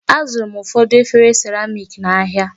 Azụrụ m ụfọdụ efere seramik n'ahia.